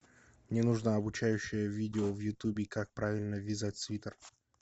мне нужно обучающее видео в ютубе как правильно вязать свитер